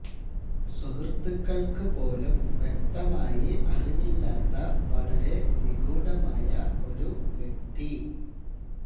സുഹൃത്തുക്കൾക്കു പോലും വ്യക്തമായി അറിവില്ലാത്ത വളരെ നിഗൂഢമായ ഒരു വ്യക്തി